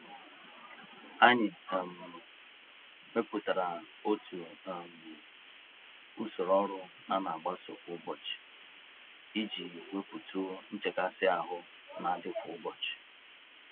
Anyị um mepụtara otu um usoro ọrụ anagbaso kwa ụbọchị, iji wepụtụ̀ nchekasị-ahụ nadị kwa ụbọchị